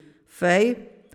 Fej!